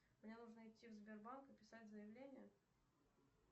мне нужно идти в сбербанк и писать заявление